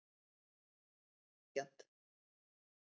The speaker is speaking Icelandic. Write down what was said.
Þetta er ekki sanngjarnt.